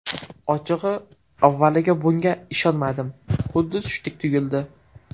Ochig‘i, avvaliga bunga ishonmadim, xuddi tushdek tuyuldi.